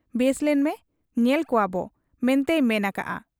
ᱵᱮᱥ ᱞᱮᱱᱢᱮ ᱧᱮᱞ ᱠᱚᱣᱟᱵᱚ ᱢᱮᱱᱛᱮᱭ ᱢᱮᱱ ᱟᱠᱟᱜ ᱟ ᱾